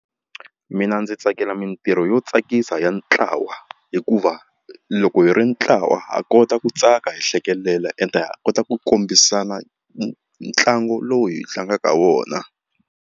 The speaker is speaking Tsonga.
Mina ndzi tsakela mitirho yo tsakisa ya ntlawa hikuva loko hi ri ntlawa ha kota ku tsaka hi hlekelela ende ha kota ku kombisana ntlangu lowu hi tlangaka wona.